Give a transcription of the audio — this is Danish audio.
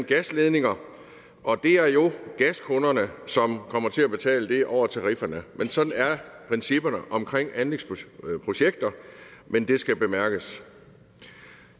gasledninger og det er jo gaskunderne som kommer til at betale det over tarifferne sådan er principperne omkring anlægsprojekter men det skal bemærkes